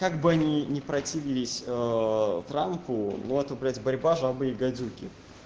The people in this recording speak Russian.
как бы они противились трампу ну а таблица борьба жабы и гадюки